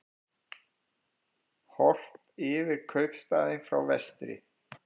Horft yfir kaupstaðinn frá vestri.